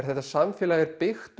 þetta samfélag er byggt